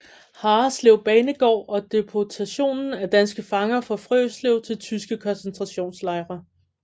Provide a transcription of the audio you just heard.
Harreslev banegård og deportationen af danske fanger fra Frøslev til tyske koncentrationslejre